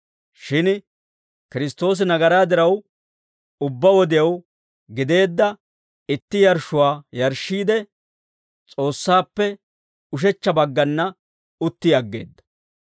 Shin Kiristtoosi nagaraa diraw, ubbaa wodew gideedda itti yarshshuwaa yarshshiide, S'oossaappe ushechcha baggana utti aggeedda.